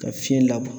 Ka fiɲɛ labɔ